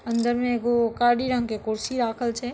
अंदर में एगो कारी रंग के कुर्सी राखल छै ।